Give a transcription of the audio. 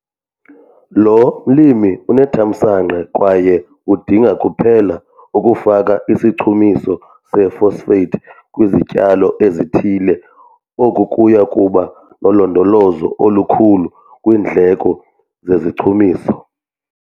Lo mlimi unethamsanqa kwaye udinga kuphela ukufaka isichumiso se-phosphate kwizityalo ezithile. Oku kuya kuba nolondolozo olukhulu kwiindleko zezichumiso.